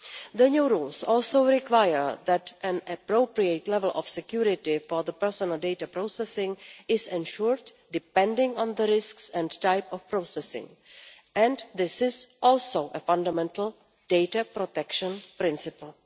The new rules also require that an appropriate level of security for personal data processing is ensured, depending on the risks and type of processing. And this is also a fundamental data protection principle.